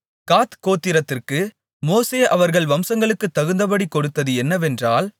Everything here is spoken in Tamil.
காத் கோத்திரத்திற்கு மோசே அவர்கள் வம்சங்களுக்குத் தகுந்தபடிக் கொடுத்தது என்னவென்றால்